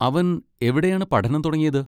അവൻ എവിടെയാണ് പഠനം തുടങ്ങിയത്?